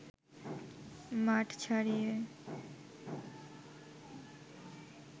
মাঠ ছাড়িয়ে